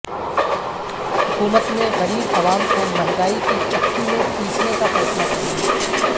حکومت نے غریب عوام کو مہنگائی کی چکی میںپیسنے کا فیصلہ کرلیا